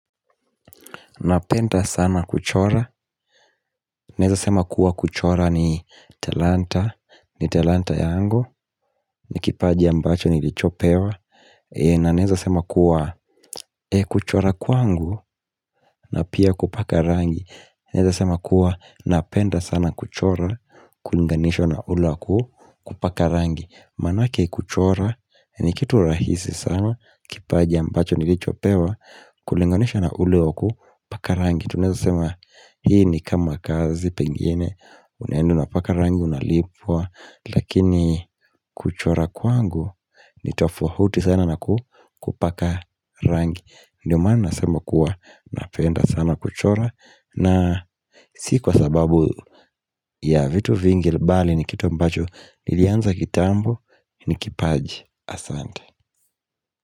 Napenda sana kuchora, naweza kusema kuwa kuchora ni talanta yangu na ni kipaji nilichopewa. Na naweza sema kuwa kuchora kwangu na pia kupaka rangi, naweza kusema kuwa napenda sana kuchora ikilinganishwa na kupaka rangi. Manake kuchora ni kitu rahisi sana na ni kipaji nilichopewa. Ikilinganishwa na kupaka rangi, tunaweza kusema hii ni kama kazi. Pengine unapoenda kupaka rangi unalipwa, lakini kuchora kwangu ni tofauti sana na kupaka rangi. Ndio maana nasema kuwa napenda sana kuchora na sio kwa sababu ya vitu vingi, bali ni kitu ambacho nilianza kitambo. Ni kipaji, asante.